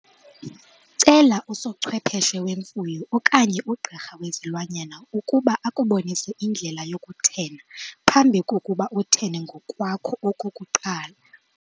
Cela usochwepheshe wemfuyo okanye ugqirha wezilwanyana ukuba akubonise indlela yokuthena phambi kokuba uthene ngokwakho okokuqala.